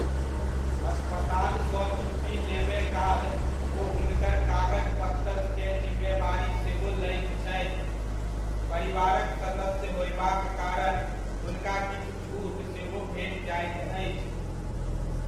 अस्पताल सऽ छुट्टी लेबय काल ओ हुनकर कागज पत्तर केँ जिम्मेवारी सेहो लैत छथि, परिवारक सदस्य होयबाक कारण हुनका किछु छूट सेहो भेट जाइत अछि।